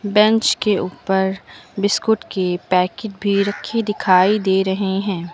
Bench के ऊपर biscuit के पैकेट भी रखे दिखाई दे रहे हैं।